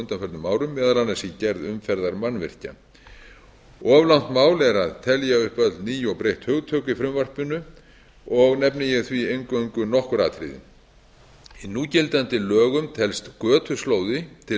undanförnum árum meðal annars í gerð umferðarmannvirkja of langt mál er að telja upp öll ný og breytt hugtök í frumvarpinu og nefni ég því eingöngu nokkur atriði í núgildandi lögum telst götuslóði til